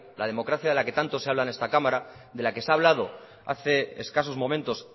la democracia de la que tanto se habla en esta cámara de la que se ha hablado hace escasos momentos